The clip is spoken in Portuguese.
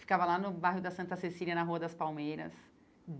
Ficava lá no bairro da Santa Cecília, na Rua das Palmeiras.